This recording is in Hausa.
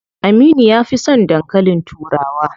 Aminu ya fi son dankalin turawa.